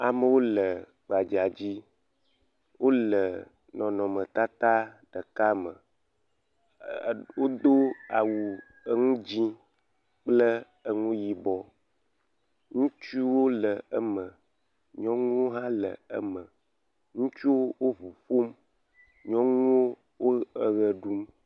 Amewo le gbadza dzi. Wòle nɔnɔme tata ɖeka me. E wodo awu enu dzɛ kple enu yibɔ. Nutsowo le eme, nyɔnuwo hã le eme. Ŋutsuwo ƒuƒom. Nyɔnuwo le eɣe ɖum.